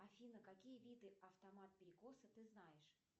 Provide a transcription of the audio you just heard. афина какие виды автомат перекоса ты знаешь